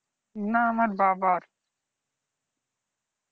না আমার বাবার।